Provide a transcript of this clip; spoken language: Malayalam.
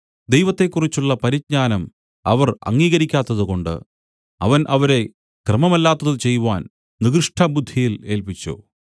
ദൈവത്തെക്കുറിച്ചുള്ള പരിജ്ഞാനം അവർ അംഗീകരിക്കാത്തതുകൊണ്ട് അവൻ അവരെ ക്രമമല്ലാത്തത് ചെയ്‌വാൻ നികൃഷ്ടബുദ്ധിയിൽ ഏല്പിച്ചു